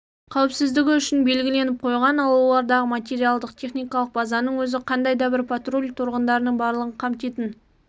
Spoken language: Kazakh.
қауіпсіздігі үшін белгіленіп қойған ал олардағы материалдық-техникалық базаның өзі қандай әрбір патруль тұрғындардың барлығын қамтитын